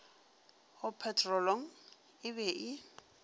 go petrolong e be e